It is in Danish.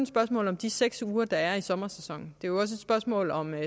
spørgsmål om de seks uger der er i sommersæsonen det jo også et spørgsmål om